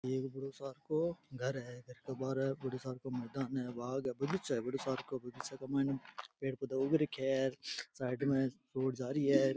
एक बड़ो सार को घर है घर के बाहरे बड़ो सार को मकान है बाग है बगीचों है बड़ो सार को बगीचा के मायने पेड़ पौधा उग रखिया है साइड में रोड जा रही है।